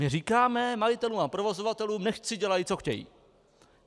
My říkáme majitelům a provozovatelům, nechť si dělají, co chtějí.